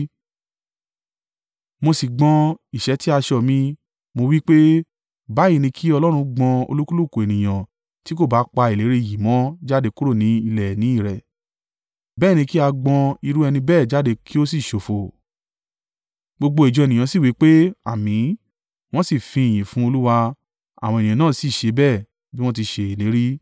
Mo sì gbọn ìṣẹ́tí aṣọ mi, mo wí pé, “Báyìí ni kí Ọlọ́run gbọn olúkúlùkù ènìyàn tí kò bá pa ìlérí yìí mọ́ jáde kúrò ní ilẹ̀ ìní i rẹ̀. Bẹ́ẹ̀ ni kí a gbọn irú ẹni bẹ́ẹ̀ jáde kí ó sì ṣófo!” Gbogbo ìjọ ènìyàn sì wí pé, “Àmín,” wọ́n sì fi ìyìn fún Olúwa. Àwọn ènìyàn náà sì ṣe bí wọ́n ti ṣe ìlérí.